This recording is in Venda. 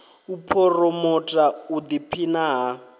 u phuromotha u ḓiphina ha